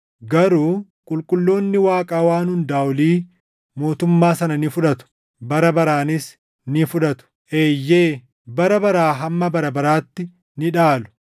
Garuu qulqulloonni Waaqa Waan Hundaa Olii mootummaa sana ni fudhatu; bara baraanis ni fudhatu; eeyyee, bara baraa hamma bara baraatti ni dhaalu.’